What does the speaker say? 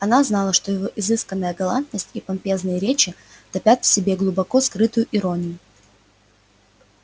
она знала что его изысканная галантность и помпезные речи топят в себе глубоко скрытую иронию